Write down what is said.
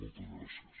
moltes gràcies